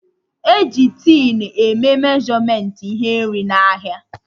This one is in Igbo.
E ji tin e mee meshọmentị ihe nri n'ahịa